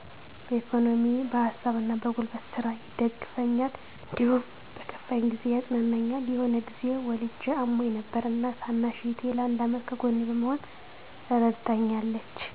በኢኮኖሚ በሀሳብና በጉልበት ስራ ይደግፉኛል። እንዲሁም በከፋኝ ጊዜ ያፅናኑኛል። የሆነ ጊዜ ወልጀ አሞኝ ነበር እና ታናሽ እህቴ ለአንድ አመት ከጎኔ በመሆን እረድታኛለች።